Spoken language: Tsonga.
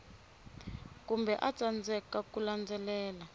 kumbe a tsandzeka ku landzelela